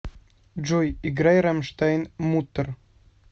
джой играй рамштайн муттэр